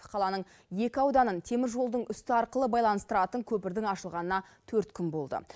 қаланың екі ауданын теміржолдың үсті арқылы байланыстыратын көпірдің ашылғанына төрт күн болды